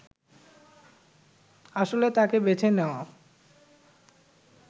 আসলে তাঁকে বেছে নেওয়া